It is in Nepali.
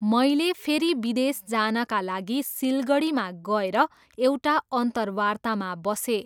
मैले फेरि विदेश जानाका लागि सिलगढीमा गएर एउटा अन्तर्वार्तामा बसेँ।